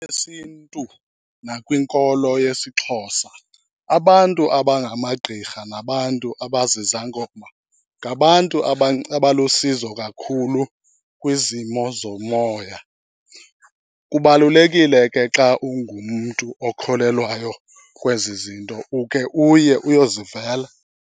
Esintu nakwinkolo yesiXhosa, abantu abangamagqirha nabantu abazizangoma ngabantu abalusizo kakhulu kwizimo zomoya. Kubalulekile ke xa ungumntu okholelwayo kwezi zinto ukhe uye uyozivela.